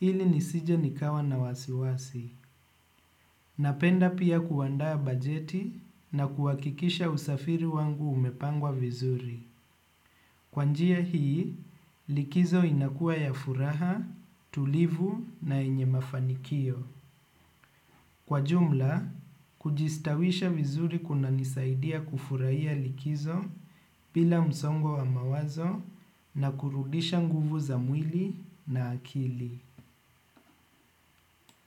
ili nisije nikawa na wasiwasi. Napenda pia kuandaa bajeti na kuhakikisha usafiri wangu umepangwa vizuri. Kwa njia hii likizo inakuwa ya furaha tulivu na yenye mafanikio. Kwa jumla, kujistawisha vizuri kunanisaidia kufurahia likizo bila msongo wa mawazo na kurudisha nguvu za mwili na akili.